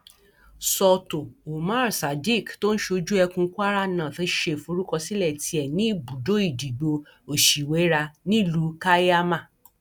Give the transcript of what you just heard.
sọtò umar sadiq tó ń ṣojú ẹkùn kwara north ṣe ìforúkọsílẹ tiẹ ní ibùdó ìdìbò òṣìwéra nílùú kaiama